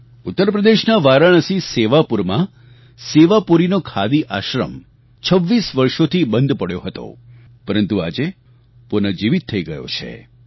ઉત્તર પ્રદેશના વારાણસી સેવાપુરમાં સેવાપુરીનો ખાદી આશ્રમ 26 વર્ષોથી બંધ પડ્યો હતો પરંતુ આજે પુનઃજીવીત થઈ ગયો છે